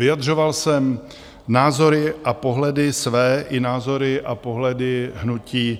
Vyjadřoval jsem názory a pohledy své i názory a pohledy hnutí